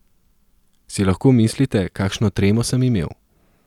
Si lahko mislite, kakšno tremo sem imel?